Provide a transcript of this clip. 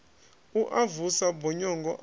u a vusa bonyongo a